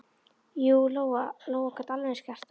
Jú, Lóa-Lóa gat alveg eins gert það.